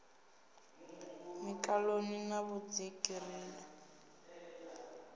mikaṋoni na vhudziki ri ḓo